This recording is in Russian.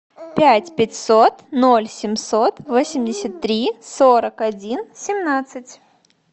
пять пятьсот ноль семьсот восемьдесят три сорок один семнадцать